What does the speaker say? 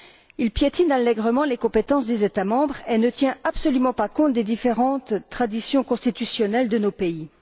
Il piétine allègrement les compétences des États membres et ne tient absolument pas compte des différentes traditions constitutionnelles de nos pays.